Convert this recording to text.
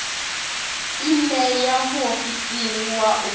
i ṋee muofisiri wa u